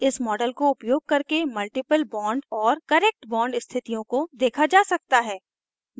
इस model को उपयोग करके multiple bond और correct bond स्थितियों को देखे जा सकते हैं